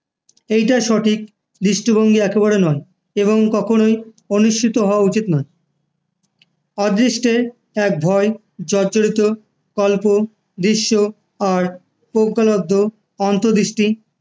এটা সঠিক দৃষ্টিভঙ্গি একেবারেই নয়, এবং কখনই অনুসৃত হওয়া উচিত নয়, অদৃষ্টের ভয় জর্জরিত অদৃশ্য আর প্রজ্ঞালব্ধ অন্তর্দৃষ্টি যা